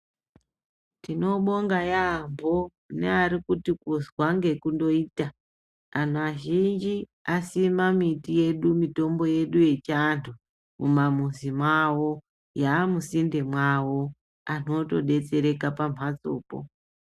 Tinobonga yaamho nearikuti kundozwa nekuita anhu azhinji asima miti yedu mitombo yedu yechianhu mumamizi mawo yamusinde mwawo anhu otodetsereka pamhatsopo.